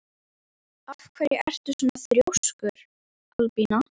Af hverju ertu svona þrjóskur, Albína?